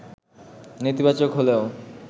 নেতিবাচক হলেও